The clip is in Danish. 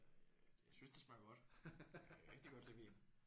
Øh det jeg synes det smager godt. Jeg kan rigtig godt lide vin